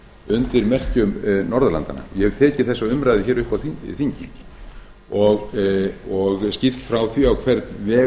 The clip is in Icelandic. undir merkjum norðurlandanna ég hef tekið þessa umræðu upp á þingi og skýrt frá því á hvern veg